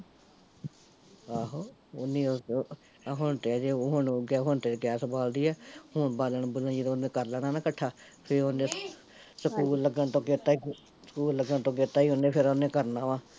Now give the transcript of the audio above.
ਆਹੋ, ਓਨੀ ਉਹ, ਉਹ ਹੁਣ ਤੇ ਅਜੇ ਓਹ ਹੁਣ ਤੇ ਉਹ ਗੈਸ ਬਾਲਦੀ ਏ, ਹੁਣ ਬਾਲਣ ਬੁਲਣ ਓਹਨੇ ਜਦੋਂ ਕਰ ਲੈਣਾ ਨਾ ਕੱਠਾ, ਫਿਰ ਓਹਨੇ ਸਕੂਲ ਲੱਗਣ ਤੋਂ ਅਗੇਤਾ ਈ, ਸਕੂਲ ਲੱਗਣ ਤੋਂ ਅਗੇਤਾ ਈ ਓਹਨੇ ਫਿਰ ਓਹਨੇ ਕਰਨਾ ਵਾ